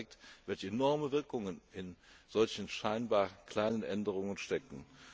Das zeigt, welche enormen Wirkungen in solchen scheinbar kleinen Änderungen stecken.